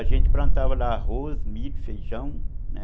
A gente plantava lá arroz, milho, feijão, né?